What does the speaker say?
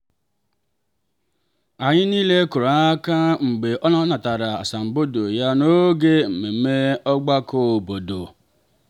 anyị niile kụrụ aka mgbe ọ natara asambodo ya n'oge mmemme ogbako obodo.